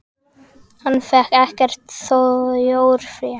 Hann fékk ekkert þjórfé.